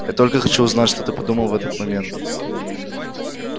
я только хочу знать что ты подумал в этот момент